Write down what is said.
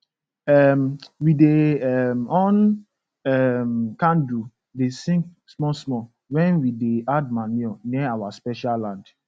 um we dey um on um candle da sing small small wen we dey add manure near our special land